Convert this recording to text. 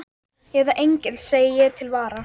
Eða engill, segi ég til vara.